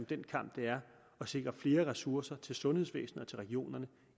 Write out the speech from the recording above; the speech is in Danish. den kamp det er at sikre flere ressourcer til sundhedsvæsenet og til regionerne